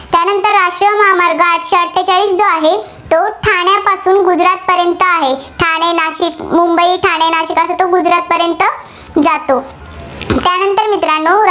पर्यंत आहे. ठाणे, नाशिक, मुंबई, ठाणे, नाशिक असं तो गुजरातपर्यंत जातो. त्यानंतर मित्रांनो